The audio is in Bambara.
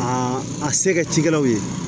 Aa a se ka cikɛlaw ye